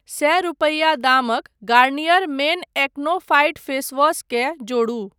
सए रूपैया दामक Garnier men acno fight face wash केँ जोड़ू।